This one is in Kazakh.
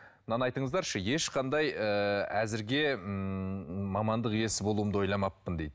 мынаны айтыңыздаршы ешқандай ыыы әзірге ммм мамандық иесі болуымды ойламаппын дейді